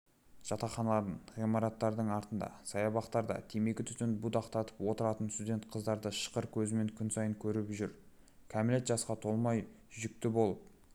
жатақханалардың ғимараттардың артында саябақтарда темекі түтінін будақтатып отыратын студент қыздарды шыққыр көзіміз күн сайын көріп жүр кәмелет жасқа толмай жүкті болып